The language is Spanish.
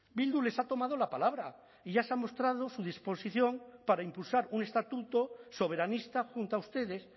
bildu les ha tomado la palabra y ya se ha mostrado su disposición para impulsar un estatuto soberanista junto a ustedes